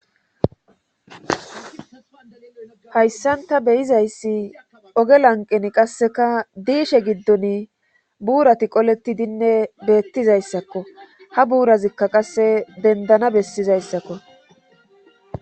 hayssanta beyizayssi oge lanqen qasseka diishe giddon buurati qoleti dinne beettizayssakko ha buurazikka qasse bendana bessizayssakko